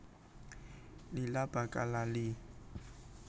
Lila bakal lali